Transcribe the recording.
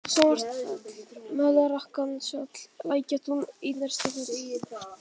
Svartfell, Melrakkanesfjall, Lækjatún, Einarsstaðafjall